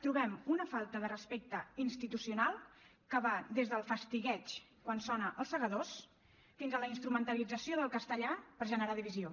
trobem una falta de respecte institucional que va des del fastigueig quan sona els segadors fins a la instrumentalització del castellà per generar divisió